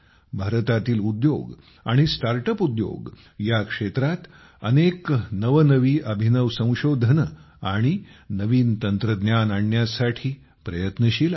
भारतातील उद्योग आणि स्टार्ट अप उद्योग या क्षेत्रात अनेक नवनवी अभिनव संशोधने आणि नवनवी तंत्रज्ञाने आणण्यासाठी प्रयत्नशील आहेत